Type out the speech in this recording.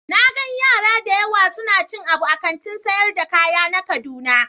Na gan yara da yawa suna cin abu a Kantin sayar da kaya na kaduna.